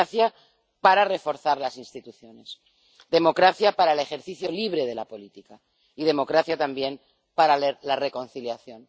Democracia para reforzar las instituciones, democracia para el ejercicio libre de la política y democracia también para la reconciliación.